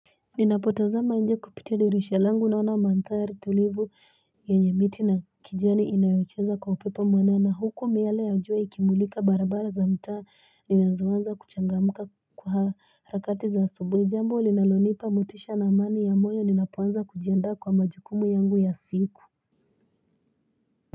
Ninapotazama nje kupitia dirisha langu naona mantari tulivu ya nyamiti na kijani inayocheza kwa upipa mwanana huko miale ya ujua ikimulika barabara za mtaa ninazwanza kuchangamuka kwa rakati za subwe jambo ulinalonipa mutisha na amani ya moyo ninapwanza kujiandaa kwa majukumu yangu ya siku.